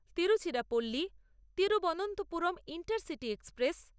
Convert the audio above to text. Tiruchirappalli-Thiruvananthapuram intercity express